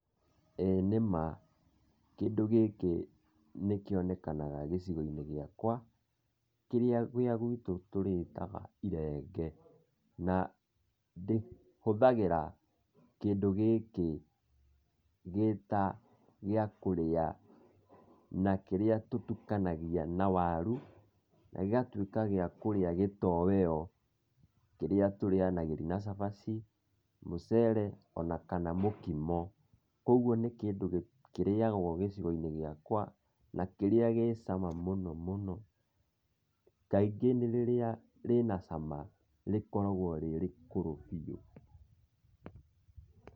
ĩĩ nĩma kĩndũ gĩkĩ nĩ kĩonekaga gĩcigo-inĩ gĩakwa, kĩrĩa gwitũ tũrĩtaga irenge na hũthagĩra kĩndũ gĩkĩ gĩta gĩa kũrĩa, na kĩrĩa tũtukanagia na waru na gĩgatuĩka gĩa kũrĩa gitoweo, kĩrĩa tũrĩaganĩria na cabaci, mũcere ona kana mũkimo, koguo nĩ kĩndũ kĩrĩagwo gĩcigo-inĩ gĩakwa na kĩrĩa gĩ cama mũno mũno, kaingĩ nĩ rĩrĩa rĩ na cama rĩkoragwo rĩ rĩkũrũ biũ.